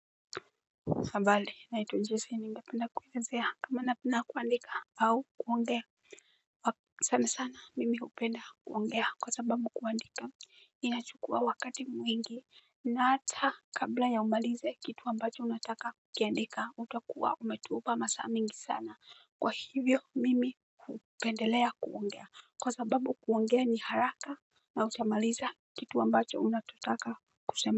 Habari naitwa Jesi. Ningependa kuelezea kama napenda kuandika au kuongea. Asanti ana sana mimi hupenda kuongea kwa sababu kuandika inachukua wakati mwingi. Na hata kabla ya umalize kitu ambacho unataka kukiandika utakuwa umetupa masaa mingi sana. Kwa hivyo mimi hupendelea kuongea kwa sababu kuongea ni haraka na utamaliza kitu ambacho unachotaka kusema.